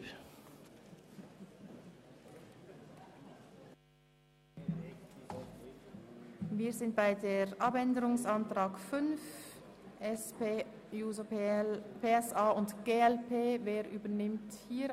Wir kommen zur Planungserklärung 5, dem Abänderungsantrag der SP-JUSO-PSA- und der glpFraktion.